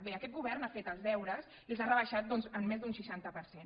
bé aquest govern ha fet els deures i els ha rebaixat doncs en més d’un seixanta per cent